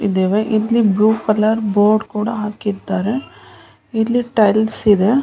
ಇದ್ದವೇ ಇಲ್ಲಿ blue colour board ಕೂಡ ಹಾಕಿದ್ದಾರೆ ಇಲ್ಲಿ ಟೈಲ್ಸ್ ಇದೆ .